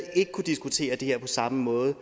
ikke kunnet diskutere det her på samme måde